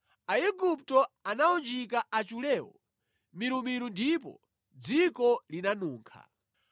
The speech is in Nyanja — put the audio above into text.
Aigupto anawunjika achulewo milumilu ndipo dziko linanunkha.